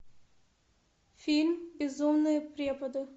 фильм безумные преподы